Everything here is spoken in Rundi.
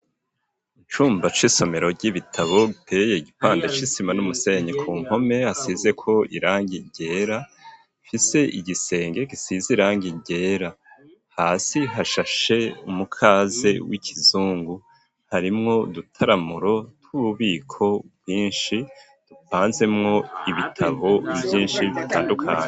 Icumba c'isomero ry'ibitabo biteye igipande c'isima n'umusenye ku nkome hasize ko irangi ryera, ifise igisenge gisize irangi ryera hasi hashashe umukaze w'ikizungu harimwo udutaramuro tw'ububiko bwinshi dupanzemwo ibitabo vyinshi bitandukanye.